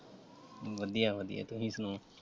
ਵਧੀਆ ਵਧੀਆ। ਤੁਸੀ ਸੁਣਾਓ?